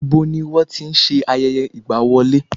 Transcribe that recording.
Ibo ni wọ́n ti n se ayẹyẹ ìgbà wọlé?